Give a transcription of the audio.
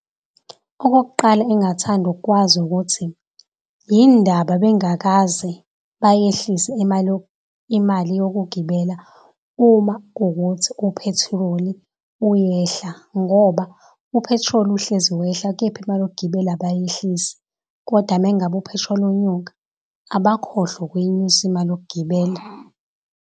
Okokuqala engathanda ukwazi ukuthi yini ndaba bengakaze bayehlise imali imali yokugibela. Uma kuwukuthi uphethiloli i uyehla ngoba uphethiloli uhlezi wehla, kepha imali yokugibela abayehlisi kodwa uma ngabe uphethiloli unyuka abakhohlwa ukuyinyusa imali yokugibela.